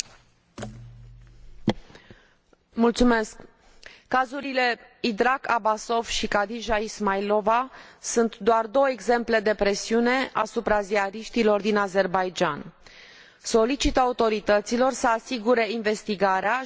Cazurile Idrak Abbasov și Hadija Ismailova sunt doar două exemple de presiune asupra ziariștilor din Azerbaidjan. Solicit autorităților să asigure investigarea și condamnarea persoanelor vinovate și, de asemenea,